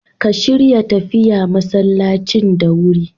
Ka shirya tafiya masallacin da wurin.